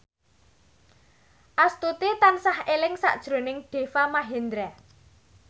Astuti tansah eling sakjroning Deva Mahendra